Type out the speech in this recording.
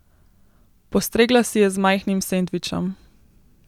Postregla si je z majhnim sendvičem.